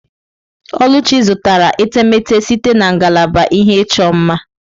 Oluchi zụtara etemeete site na ngalaba ihe ịchọ mma.